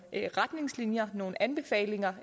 retningslinjer nogle anbefalinger